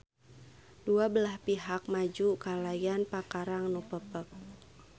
Dua belah pihak maju kalayan pakarang nu pepek.